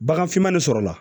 Bagan fiman de sɔrɔ la